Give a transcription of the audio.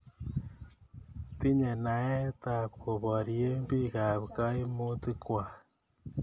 Tinye naet ap koporye piik ak kaimutik kwak